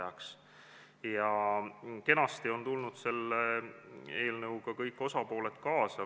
Ja kõik osapooled on kenasti tulnud eelnõuga kaasa.